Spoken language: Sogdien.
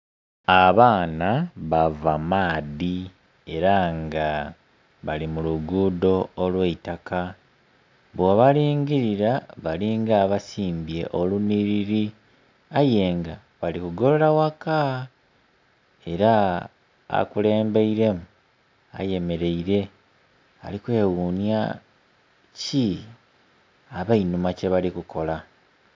Abaana bava maadhi era nga bali mu lugudho olw'eitaka. Bwobalingilira balinga abasimbye olunhiliri aye nga bali kugolola ghaka era akulembeiremu ayemeleire alikweghunya, ki abenhuma kye bali kukola!